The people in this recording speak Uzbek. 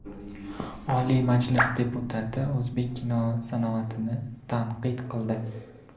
Oliy Majlis deputati o‘zbek kino sanoatini tanqid qildi.